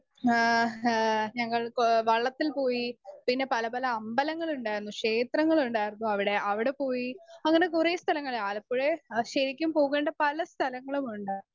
Speaker 1 ഏ ഹ് ഞങ്ങൾ കൊ വള്ളത്തിൽ പോയി. പിന്നെ പലപല അമ്പലങ്ങളുണ്ടായിരുന്നു, ക്ഷേത്രങ്ങളുണ്ടായിരുന്നു അവിടെ അവിടെപ്പോയി അങ്ങനെ കുറേ സ്ഥലങ്ങൾ. ആലപ്പുഴെ ശരിക്കും പോകേണ്ട കുറേ സ്ഥലങ്ങളുമുണ്ട്.